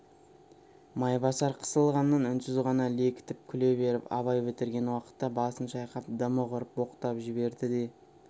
майбасар қысылғаннан үнсіз ғана лекітіп күле беріп абай бітірген уақытта басын шайқап дымы құрып боқтап жіберді де